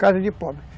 Casa de pobre.